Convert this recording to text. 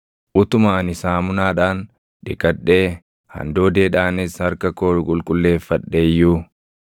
Utuma ani saamunaadhaan dhiqadhee handoodeedhaanis harka koo qulqulleeffadhe iyyuu,